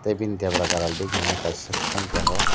tai bini debra gana digi kaisa thum tongo.